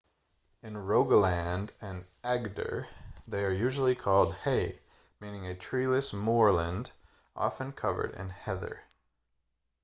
in rogaland and agder they are usually called hei meaning a treeless moorland often covered in heather